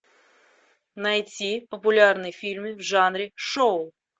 найти популярный фильм в жанре шоу